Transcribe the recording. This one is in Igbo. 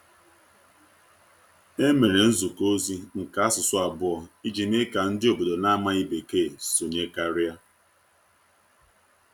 E mere nzukọ ozi nke asụsụ abụọ iji mee ka ndị obodo na-amaghị Bekee sonye karịa.